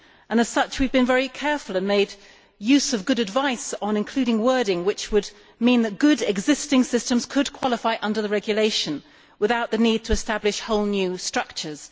That being so, we have been very careful and have made use of good advice on including wording which would enable good existing systems to qualify under the regulation without the need to establish whole new structures.